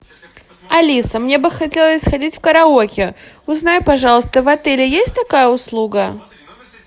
алиса мне бы хотелось сходить в караоке узнай пожалуйста в отеле есть такая услуга